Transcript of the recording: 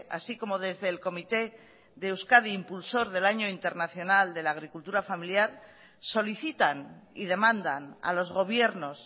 así como desde el comité de euskadi impulsor del año internacional de la agricultura familiar solicitan y demandan a los gobiernos